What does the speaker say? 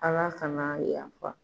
Ala kan'a yafa.